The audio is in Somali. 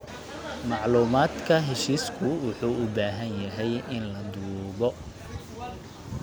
Macluumaadka heshiisku wuxuu u baahan yahay in la duubo.